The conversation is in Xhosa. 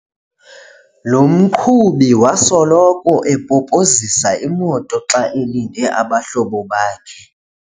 Lo mqhubi wasoloko epopozisa imoto xa elinde abahlobo bakhe.